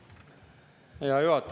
Hea juhataja!